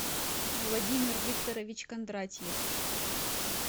владимир викторович кондратьев